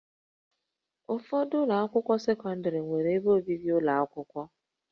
Ụfọdụ ụlọ akwụkwọ sekọndrị nwere ebe obibi ụlọ akwụkwọ